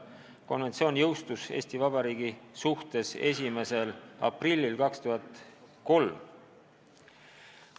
Konventsioon jõustus Eesti Vabariigi suhtes 1. aprillil 2003.